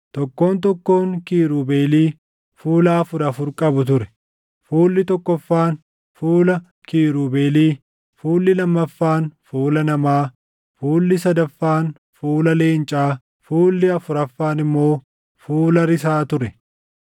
Tokkoon tokkoon kiirubeelii fuula afur afur qabu ture: fuulli tokkoffaan fuula kiirubeelii, fuulli lammaffaan fuula namaa, fuulli sadaffaan fuula leencaa, fuulli afuraffaan immoo fuula risaa ture.